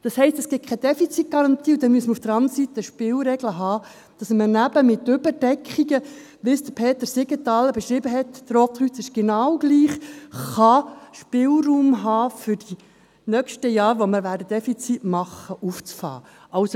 Das heisst: Es gibt keine Defizitgarantie, und dann muss man auf der anderen Seite Spielregeln haben, um eben bei Überdeckungen, wie sie Peter Siegenthaler beschrieben hat – das Rote Kreuz funktioniert genau gleich –, Spielraum zu haben und um die Defizite der nächsten Jahre auffangen zu können.